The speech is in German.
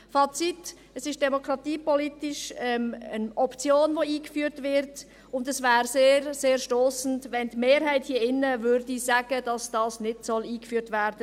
Fazit: Es ist demokratiepolitisch eine Option, die eingeführt wird, und es wäre sehr, sehr stossend, wenn die Mehrheit sagen würde, dies solle nicht eingeführt werden.